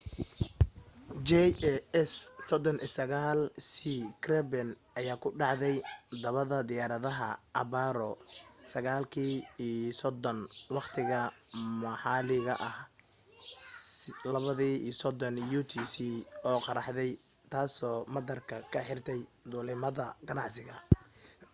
jas 39c gripen ayaa ku dhacday dhabbada diyaaradaha abbaaro 9:30 waqtiga maxalliga ah 0230 utc oo qaraxday taasoo madaarka ka xirtay duulimaadada ganacsiga